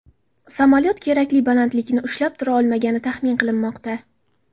Samolyot kerakli balandlikni ushlab tura olmagani taxmin qilinmoqda.